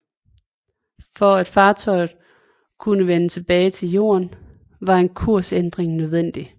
For at fartøjet kunne vende tilbage til Jorden var en kursændring nødvendig